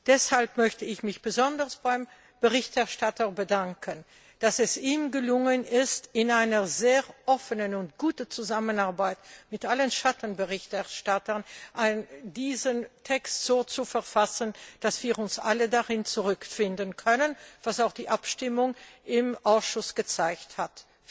Deshalb möchte ich mich besonders beim Berichterstatter bedanken, dass es ihm gelungen ist, in einer sehr offenen und guten Zusammenarbeit mit allen Schattenberichterstattern diesen Text so zu verfassen, dass wir uns alle darin wiederfinden können, was auch die Abstimmung im Ausschuss gezeigt hat.